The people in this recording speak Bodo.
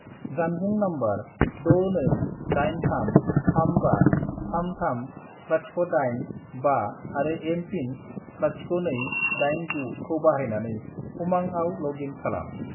जानबुं नम्बर 62833533085 आरो एम.पिन. 0289 खौ बाहायनानै उमांआव लग इन खालाम।